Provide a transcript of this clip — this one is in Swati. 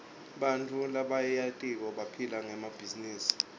bantfu labaryenti baphila ngemabhizinisi